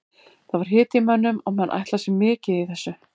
Það var hiti í mönnum og menn ætla sér mikið í þessu.